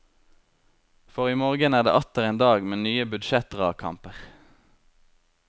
For i morgen er det atter en dag med nye budsjettdragkamper.